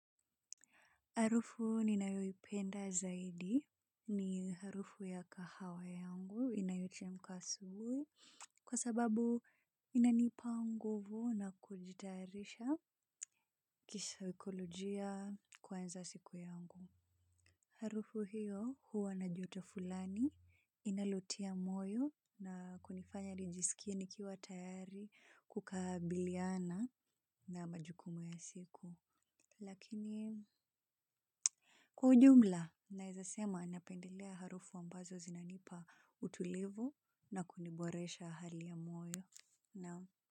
Harufu ninayoipenda zaidi ni harufu ya kahawa yangu inayochemka asubuhi kwa sababu inanipa nguvu na kujitayarisha kisaikolojia kuanza siku yangu. Harufu hiyo huwa na joto fulani inalotia moyo na kunifanya nijisikia nikiwa tayari kukabiliana na majukumu ya siku. Lakini kwa jumla, nawezasema napendelea harufu ambazo zinanipa utulivu na kuniboresha hali ya moyo. Nam?